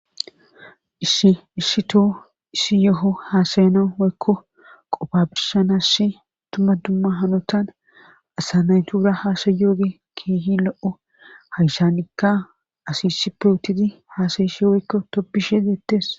issi issi toho issi yoho haasayanawu woykko qoppa birshanas dumma dumma hanotan asa nayitura haasayiyobayi kehi lo7o hayissanikka asi isipe utidd haasayishshe woykko tobbishshe deettes.